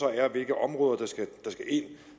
er hvilke områder der skal ind